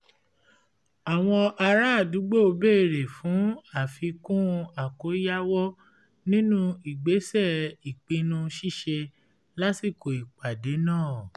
ara àdúgbò béèrè fún àfikún àkóyawọ̀ nínú ìgbésẹ̀ ìpinnu ṣíṣe lásìkò ìpàdé náà